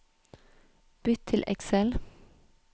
Bytt til Excel